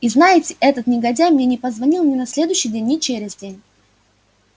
и знаете этот негодяй мне не позвонил ни на следующий день ни через день